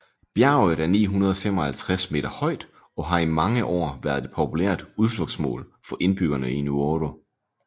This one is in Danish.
Bjerget er 955 meter højt og har i mange år været et populært udflugtsmål for indbyggerne i Nuoro